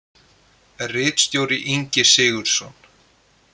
Ritstjóri Ingi Sigurðsson.